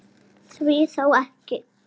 Milli ský- hnoðra.